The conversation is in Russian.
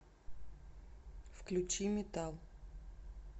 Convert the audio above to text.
включи метал